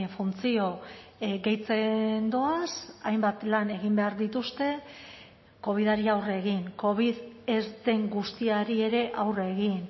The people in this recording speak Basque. funtzio gehitzen doaz hainbat lan egin behar dituzte covidari aurre egin covid ez den guztiari ere aurre egin